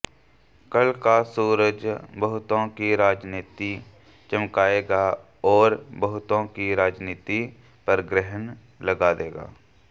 कल का सूरज बहुतों की राजनीति चमकाएगा और बहुतों की राजनीति पर ग्रहण लगा देगा